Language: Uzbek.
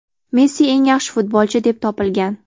Messi eng yaxshi futbolchi, deb topilgan.